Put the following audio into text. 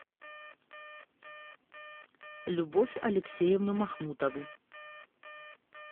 любовь алексеевну махмутову